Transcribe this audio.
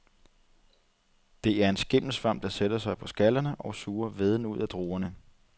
Det er en skimmelsvamp, der sætter sig på skallerne og suger væden ud af druerne.